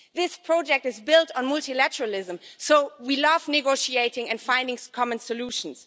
This project is built on multilateralism, so we love negotiating and finding common solutions.